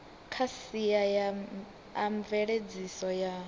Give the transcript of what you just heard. kha sia a mveledziso ya